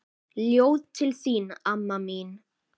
Ljóð til þín amma mín.